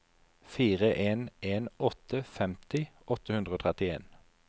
fire en en åtte femti åtte hundre og trettien